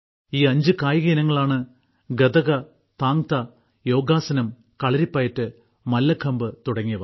ഈ അഞ്ച് കായിക ഇനങ്ങളാണ് ഗതക താങ്താ യോഗാസനം കളരിപ്പയറ്റ് മല്ലഖമ്പ് തുടങ്ങിയവ